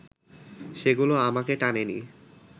সেগুলো আমাকে টানেনি